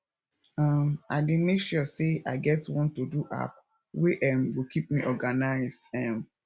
um i dey make sure say i get one todo app wey um go kip me organised um